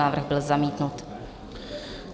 Návrh byl zamítnut.